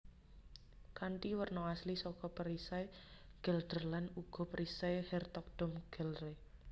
Kanthi werna asli saka perisai Gelderland uga perisai Hertogdom Gelre